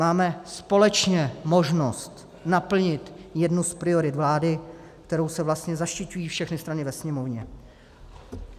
Máme společně možnost naplnit jednu z priorit vlády, kterou se vlastně zaštiťují všechny strany ve Sněmovně.